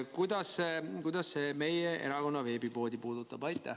Kuidas see meie erakonna veebipoodi puudutab?